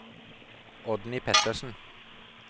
Oddny Pettersen